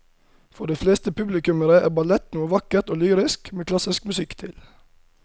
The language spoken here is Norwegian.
For de fleste publikummere er ballett noe vakkert og lyrisk med klassisk musikk til.